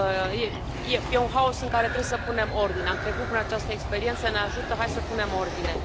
E un haos în care trebuie să punem ordine. Am trecut prin această experiență, ne ajută, hai să punem ordine.